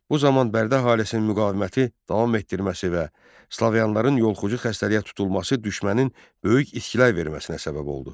Bu zaman Bərdə əhalisinin müqaviməti davam etdirməsi və slavyanların yolxucu xəstəliyə tutulması düşmənin böyük içkilər verməsinə səbəb oldu.